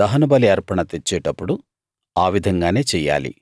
దహనబలి అర్పణ తెచ్చేటప్పుడు ఆ విధంగానే చెయ్యాలి